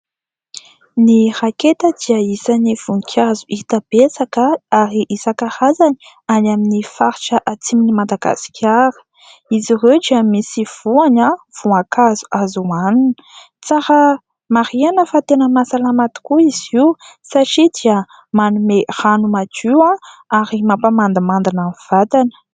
Ny raketa dia isan'ny voninkazo hita betsaka ary isan-karazany any amin'ny faritra Atsimon'i Madagasikara. Izy ireo dia misy voany, voankazo azo hohanina. Tsara marihana fa tena mahasalama tokoa izy io satria dia manome rano madio ary mampamandimandina ny vatana.